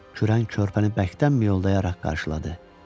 Kürən körpəni bərkdən miyoldayaraq qarşıladı.